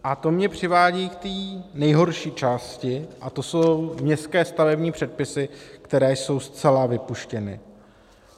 A to mě přivádí k té nejhorší části, a to jsou městské stavební předpisy, které jsou zcela vypuštěny.